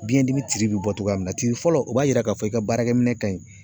Biɲɛ dimi tiri bi bɔ togoya min na. Tiri fɔlɔ o b'a yira ka fɔ i ka baarakɛ minɛn ka ɲi.